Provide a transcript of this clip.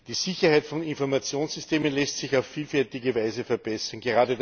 Die Sicherheit von Informationssystemen lässt sich auf vielfältige Weise verbessern.